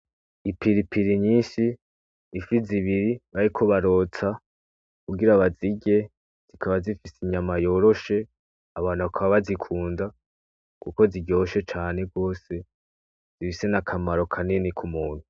Ipiripiri nyinshi, Ifi zibiri bariko barotsa kugira bazirye zikaba zifise inyama yoroshe Abantu bakaba bazikunda kuko ziryoshe cane gose zifise n'akamaro kanini k'umuntu.